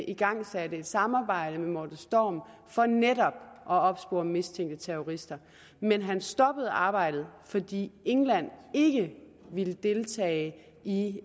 igangsat et samarbejde med morten storm for netop at opspore mistænkte terrorister men han stoppede arbejdet fordi england ikke ville deltage i